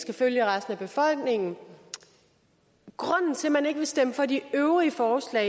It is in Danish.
skal følge resten af befolkningen grunden til at man ikke vil stemme for de øvrige forslag